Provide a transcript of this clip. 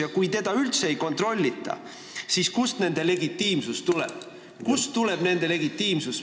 Ja kui teda üldse ei kontrollita, siis kust tuleb tema legitiimsus?